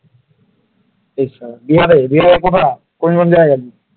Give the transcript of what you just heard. বিহারে বিহারের কোথায় কোন কোন জায়গায়